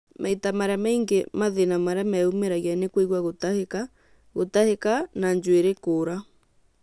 Maita marĩa maingĩ mathĩna marĩa meyumĩragia nĩ kũigua gũtahĩka, gũtahĩka na njuĩrĩ kũra